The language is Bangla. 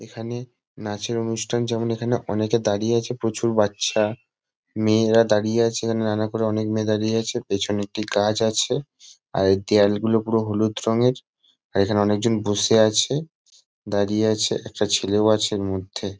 এখানে নাচের অনুষ্ঠান যেমন এখানে অনেকে দাঁড়িয়ে আছে প্রচুর বাচ্চা মেয়েরা দাঁড়িয়ে আছে। এখানে নানা করে অনেক মেয়ে দাঁড়িয়ে আছে। পেছনে একটি গাছ আছে। আর এই দেয়ালগুলো পুরো হলুদ রঙের আর এখানে অনেকজন বসে আছে দাঁড়িয়ে আছে। একটা ছেলেও আছে ম-ও-ধ্যে।